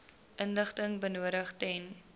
inligting benodig ten